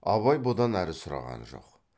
абай бұдан әрі сұраған жоқ